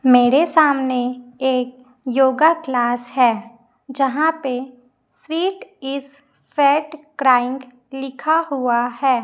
मेरे सामने एक योगा क्लास है यहां पे स्वीट इस फैट क्राइंग लिखा हुआ है।